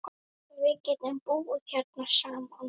Við getum búið hérna saman.